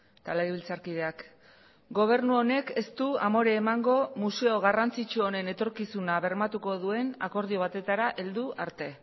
eta legebiltzarkideak gobernu honek ez du amore emango museo garrantzitsu honen etorkizuna bermatuko duen akordio batetara heldu arte